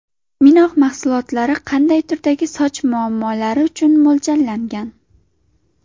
Minox mahsulotlari qanday turdagi soch muammolari uchun mo‘ljallangan?